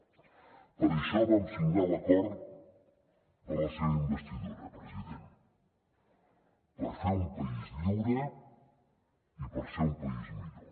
per això vam signar l’acord per a la seva investidura president per fer un país lliure i per ser un país millor